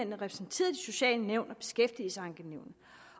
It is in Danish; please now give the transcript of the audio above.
repræsenteret i de sociale nævn